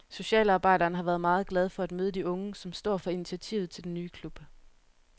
Socialarbejderen har været meget glad for at møde de unge, som står for initiativet til den nye klub.